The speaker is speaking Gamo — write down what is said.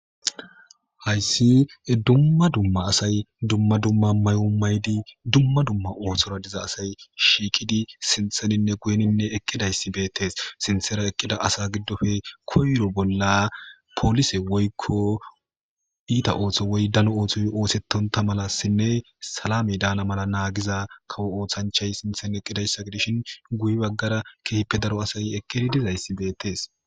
Hayis dumma dumma asay dumma dumma mayo maydi dumma dumma othora diza asay shiiqidi sintheninne guyeninne eqqidayssi beettes sintera eqqida asa giddofe koyro bolla poolise woykko iita otho woy dano otho oosettonta mala sinne salame daana mala naagiza kawo othanchay sinthen eqqidayssa gidishin guye baggara kehipe daro asay eqqidi dizayssi beettes